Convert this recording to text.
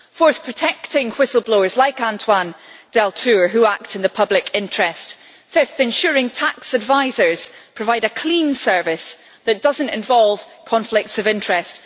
fourth, protecting whistle blowers like Antoine Deltour who act in the public interest fifth, ensuring tax advisers provide a clean service that does not involve conflicts of interest